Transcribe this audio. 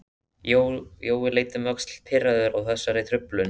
Jói leit um öxl, pirraður á þessari truflun.